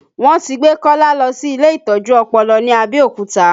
Wọn ti gbé Kọ́lá lọ sí ilé ìtọ́jú ọpọlọ ní Abẹ́òkúta